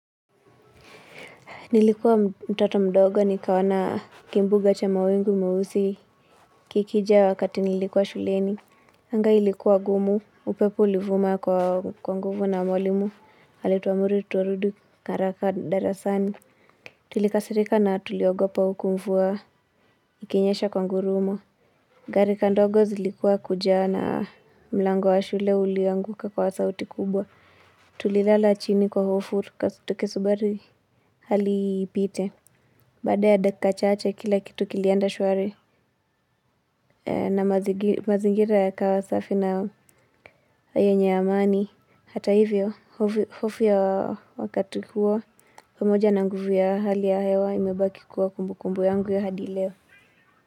Nilikuwa mtoto mdogo nikaona kimbuga cha mawingu meusi kikijaa wakati nilikuwa shuleni. Anga ilikuwa gumu, upepo ulivuma kwa nguvu na mwalimu, alituamuru turudi haraka darasani. Tulikasirika na tuliogopa huku mvua ikinyesha kwa ngurumo. Garika ndogo zilikuwa kujaa na mlango wa shule ulianguka kwa sauti kubwa. Tulilala chini kwa hofu, tukisubiri hali ipite. Baada ya dakika chache kila kitu kilienda shwari na mazingira yakawa safi na hayo yenye amani. Hata hivyo, hofu ya wakati huo, pamoja na nguvu ya hali ya hewa imebaki kuwa kumbukumbu yangu ya hadi leo.